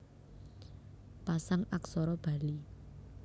Pasang Aksara Bali